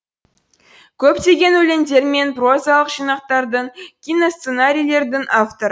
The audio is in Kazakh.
көптеген өлеңдер мен прозалық жинақтардың киносценарийлердің авторы